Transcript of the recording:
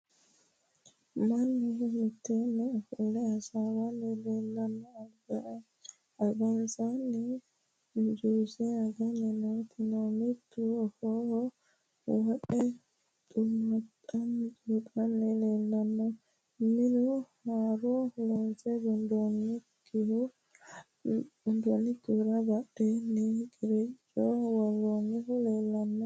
Mannu mitteenni ofolle hasaawanni leellanno. Albansaanni juuse aganni nooti no. Mittu afooho wodhe xuuxanni leellanno. Minu haaru loonse gundoonnikkihura badheenni qiricco worroonnihu leellanno.